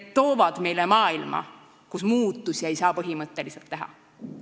–, toovad meile maailma, kus ei saa põhimõtteliselt muudatusi teha.